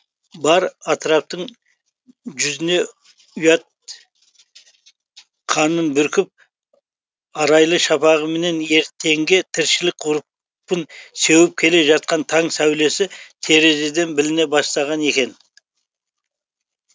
бар атыраптың жүзіне ұят қанын бүркіп арайлы шапағыменен ертеңге тіршілік ғұрпын сеуіп келе жатқан таң сәулесі терезеден біліне бастаған екен